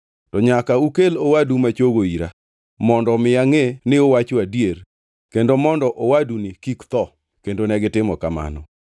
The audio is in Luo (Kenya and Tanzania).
Ka un joma kare, weuru achiel kuomu odongʼ ka, to joma odongʼ to odhiyo kendo oter cham ne joodu makoro chandore ka.